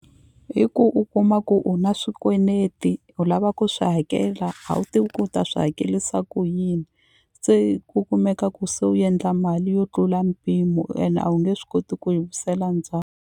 Hi ku u kuma ku u na swikweneti u lava ku swi hakela a wu tivi ku u ta swi hakelisa ku yini se ku kumeka ku se u endla mali yo tlula mpimo ene a wu nge swi koti ku yi .